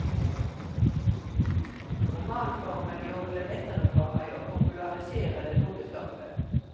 Romanformen gjorde det lettere for meg å popularisere det tunge stoffet.